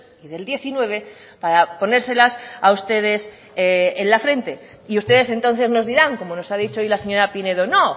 y del diecinueve para ponérselas a ustedes en la frente y ustedes entonces nos dirán como nos ha dicho hoy la señora pinedo no